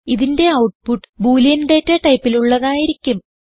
ഇതിന്റെ output Boolean data ടൈപ്പിലുള്ളതായിരിക്കും